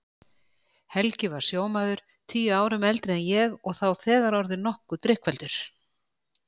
Helgi var sjómaður, tíu árum eldri en ég og þá þegar orðinn nokkuð drykkfelldur.